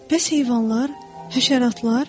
Bəs heyvanlar, həşəratlar?